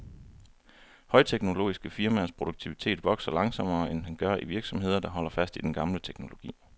Højteknologiske firmaers produktivitet vokser langsommere, end den gør i virksomheder, der holder fast i den gamle teknologi.